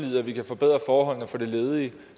vi kan forbedre forholdene for de ledige